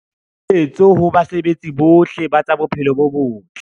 Kgoeletso ho basebeletsi bohle ba tsa bophelo bo botle.